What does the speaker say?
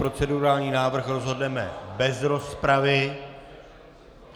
Procedurální návrh rozhodneme bez rozpravy.